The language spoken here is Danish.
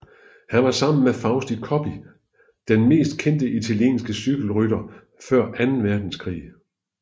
Han var sammen med Fausto Coppi den mest kendte italienske cykelrytter før anden verdenskrig